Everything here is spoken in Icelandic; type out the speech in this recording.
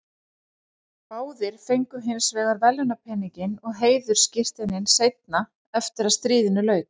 Önnur lið riðilsins eru með færri stig eftir jafnmarga eða fleiri leiki.